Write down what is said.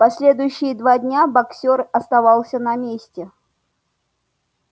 последующие два дня боксёр оставался на месте